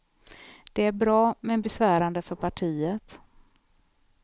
Det är bra, men besvärande för partiet.